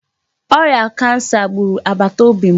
Ọrịa kansa gburu agbata obi m